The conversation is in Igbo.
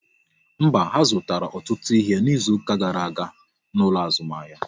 Mba, ha zụtara ọtụtụ ihe n'izuka gara aga n'ụlọ azụmahịa